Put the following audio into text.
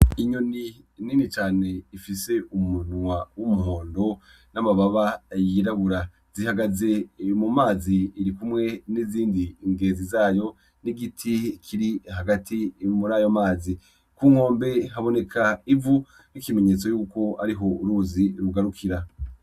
Inyoni nini cane ifise umunwa w'umuhondo n'amababa yirabura, ihagaze mu mazi iri kumwe n'izindi zigenzi zayo n'igiti kiri hagati muri ayo mazi. Ku nkombe haboneka ivu, ni ikimenyetso cuko uruzi ariho rugarukira.